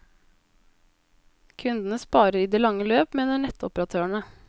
Kundene sparer i det lange løp, mener nettoperatørene.